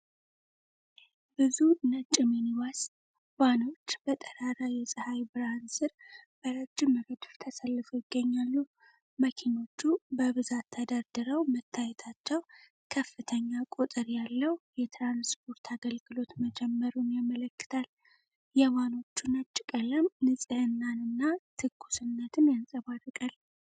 ብዙ ነጭ ሚኒባስ ቫኖች በጠራራ የፀሐይ ብርሃን ስር በረጅም ረድፍ ተሰልፈው ይገኛሉ። መኪናዎቹ በብዛት ተደርድረው መታየታቸው ከፍተኛ ቁጥር ያለው የትራንስፖርት አገልግሎት መጀመሩን ያመለክታል። የቫኖቹ ነጭ ቀለም ንጽህናንና ትኩስነትን ያንጸባርቃል።